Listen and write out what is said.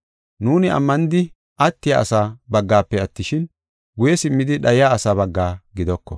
Nuuni ammanidi attiya asaa baggafe attishin, guye simmidi dhayiya asaa bagga gidoko.